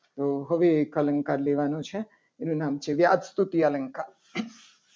તો હવે એક અલંકાર લેવાનો છે. એનું નામ છે. વ્યાસ સ્તુતિ અલંકાર